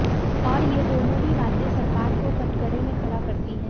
और ये दोनों ही बातें सरकार को कटघरे में खड़ा करती हैं